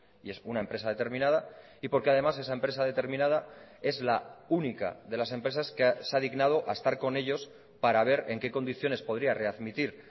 y es una empresa determinada y porque además esa empresa determinada es la única de las empresas que se ha dignado a estar con ellos para ver en qué condiciones podría readmitir